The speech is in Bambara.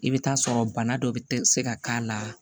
I bɛ taa sɔrɔ bana dɔ bɛ se ka k'a la